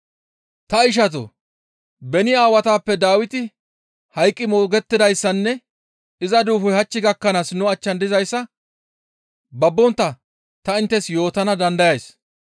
«Ta ishatoo! Beni aawatappe Dawiti hayqqi moogettidayssanne iza duufoy hach gakkanaas nu achchan dizayssa babbontta ta inttes yootana dandayays.